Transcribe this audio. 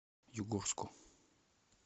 югорску